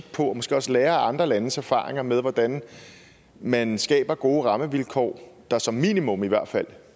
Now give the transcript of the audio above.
på og måske også lære af andre landes erfaringer med hvordan man skaber gode rammevilkår der som minimum i hvert fald